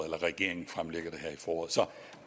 regeringen fremlægger det her i foråret så